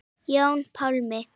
Jón Pálmi.